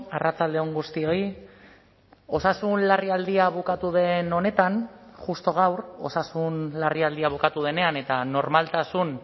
arratsalde on guztioi osasun larrialdia bukatu den honetan justu gaur osasun larrialdia bukatu denean eta normaltasun